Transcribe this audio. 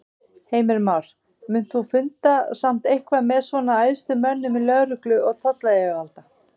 Heimir Már: Munt þú funda samt eitthvað með svona æðstu mönnum í lögreglu og tollayfirvalda?